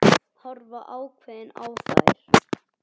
Horfa ákveðin á þær.